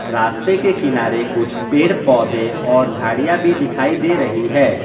रास्ते के किनारे कुछ पेड़ पौधे और झाड़ियां भी दिखाई दे रही है।